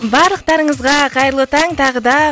барлықтарыңызға қайырлы таң тағы да